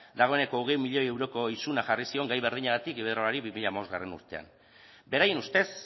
dagoeneko hogei milioi euroko isuna jarri zion gai berdinagatik iberdrolari bi mila hamabostgarrena urtean beraien ustez